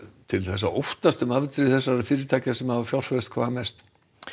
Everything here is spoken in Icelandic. til að óttast um afdrif fyrirtækja sem hafa fjárfest hvað mest